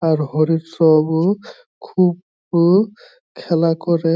আর হরির সব ও খুব ও খেলা করে।